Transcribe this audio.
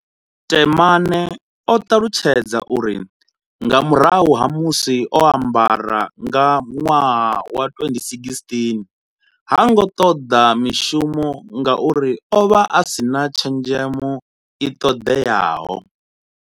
Temane o ṱalutshedza uri nga murahu ha musi o a mbara nga nwaha wa 2016 ha ngo ṱoḓa mishumo ngauri o vha a si na tshenzhemo i ṱoḓeaho.